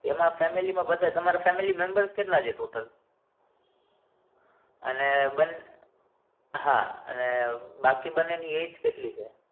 એમાં family માં બધા family membr ર્સ કેટલા છે total અને બન હા અને બાકી બનેની એજ કેટલી છે?